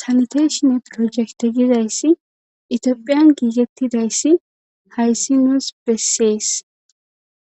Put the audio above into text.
salteeshinne projekte gidayssi itiophiyan giigettidayssi hayssi nuus bessees